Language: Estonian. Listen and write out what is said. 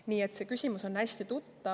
Nii et see küsimus on hästi tuttav.